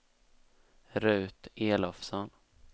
Ruth Elofsson